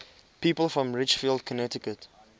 people from ridgefield connecticut